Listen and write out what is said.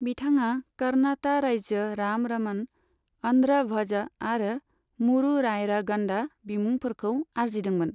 बिथाङा 'कर्नाता राज्य राम रमण', 'आन्ध्र भ'ज' आरो 'मूरु रायरा गन्डा' बिमुंफोरखौ आरजिदोंमोन।